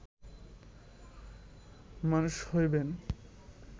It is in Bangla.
মনুষ্য হইবেন